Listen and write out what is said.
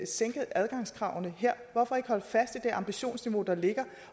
sænke adgangskravene her hvorfor ikke holde fast i det ambitionsniveau der ligger